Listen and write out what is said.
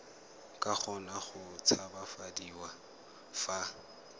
ka kgona go tshabafadiwa fa